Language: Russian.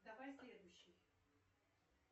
давай следующий